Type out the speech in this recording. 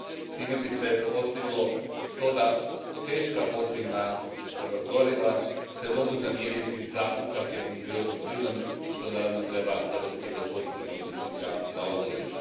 Time bi se postiglo to da se teška fosilna goriva mogu zamijeniti s ukapljenim prirodnim plinom, što naravno treba dovesti do pozitivnog učinka na okoliš.